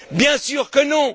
Bien sûr que non!